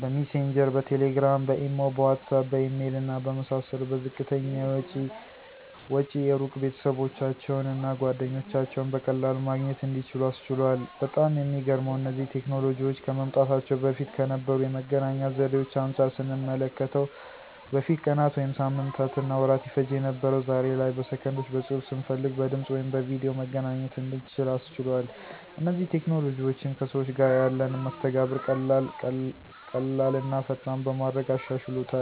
በሚሴንጀር፣ በቴሌግራም፣ በኢሞ፣ በዋትስአፕ፣ በኢሜል እና በመሳሰሉት በዝቅተኛ ወጪ የሩቅ ቤተሰባቸውን እና ጓደኞቻቸውን በቀላሉ ማግኘት እንዲችሉ አስችሏል። በጣም የሚገርመው እነዚህ ቴክኖሎጂዎች ከመምጣታቸው በፊት ከነበሩ የመገናኛ ዘዴዎች አንጻር ስንመለከተው በፊት ቀናት ወይም ሳምንታትና ወራት ይፈጅ የነበረው ዛሬ ላይ በሰከንዶች በፅሁፍ፣ ስንፈልግ በድምፅ ወይም በቪድዮ መገናኘት እንድንችል አስችሏል። እነዚህ ቴክኖሎጂዎችም ከሰዎች ጋር ያለንን መስተጋብር ቀላል ቀላልና ፈጣን በማድረግ አሻሽሎታል።